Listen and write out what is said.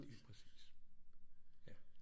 Lige præcis ja